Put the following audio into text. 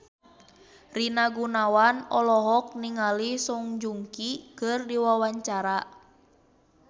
Rina Gunawan olohok ningali Song Joong Ki keur diwawancara